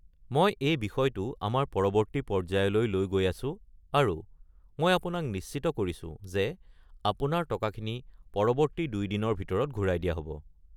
মই এই বিষয়টো আমাৰ পৰৱৰ্তী পৰ্য্যায়লৈ লৈ গৈ আছো আৰু মই আপোনাক নিশ্চিত কৰিছো যে আপোনাৰ টকাখিনি পৰৱৰ্তী ২ দিনৰ ভিতৰত ঘূৰাই দিয়া হ'ব।